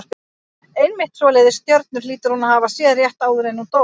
Einmitt svoleiðis stjörnur hlýtur hún að hafa séð rétt áður en hún dó.